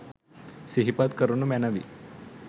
සිහිපත් කරනු මැනවි